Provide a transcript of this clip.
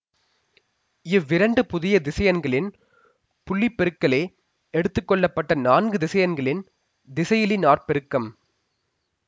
இவ்விரண்டு புதிய திசையன்களின் புள்ளிப் பெருக்கலே எடுத்து கொள்ளப்பட்ட நான்கு திசையன்களின் திசையிலி நாற்பெருக்கம்